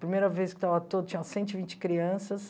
Primeira vez que estava ao todo tinha cento e vinte crianças.